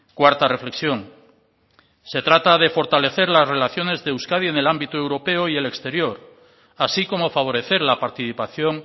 cuarta reflexión se trata de fortalecer las relaciones de euskadi en el ámbito europeo y el exterior así como favorecer la participación